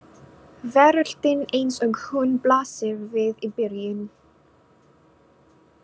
Veröldin eins og hún blasir við í byrjun.